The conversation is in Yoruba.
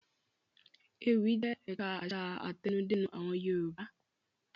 Ewì jẹ́ ẹ̀ka àṣà àtẹnudẹ́nu àwọn Yorùbá.